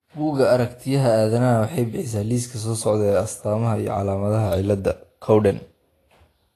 Buugga Aragtiyaha Aadanaha waxay bixisaa liiska soo socda ee astamaha iyo calaamadaha cilada Cowden .